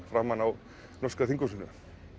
framan á norska þinghúsinu